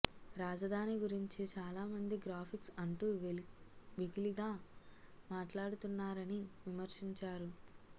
రాజధాని గురించి చాలా మంది గ్రాఫిక్స్ అంటూ వెకిలిగా మాట్లాడుతున్నారని విమర్శిం చారు